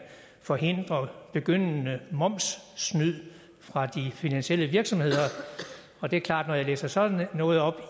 forhindrer begyndende momssnyd fra de finansielle virksomheder og det er klart at når jeg læser sådan noget op